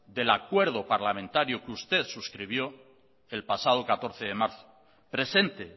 del acuerdo parlamentario que usted suscribió el pasado catorce de marzo presente